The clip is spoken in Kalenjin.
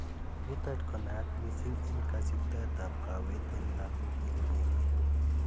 niton ko nenaat missing en kosibtoet ab kowet en Lagok en emet